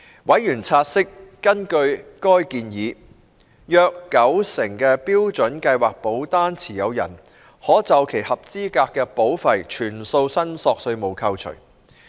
委員察悉，根據該建議，約九成標準計劃保單持有人可就其合資格保費全數申索稅務扣除。